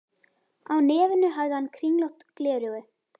Á nefinu hafði hann kringlótt gleraugu.